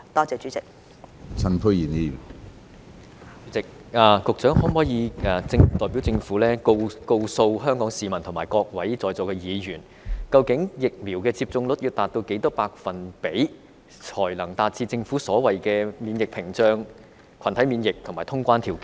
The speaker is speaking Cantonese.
主席，局長可否代表政府告訴香港市民和各位在座議員，究竟疫苗接種率要達到多少百分比，才能達致政府所謂的免疫屏障、群體免疫和通關條件？